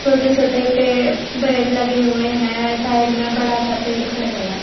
छोटे छोटे पे पेड़ लगे हुए है साइड म बड़ा सा पेड़ खडया होय ह